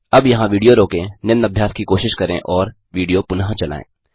अब यहाँ विडियो रोकें निम्न अभ्यास की कोशिश करें और विडियो पुनः चलायें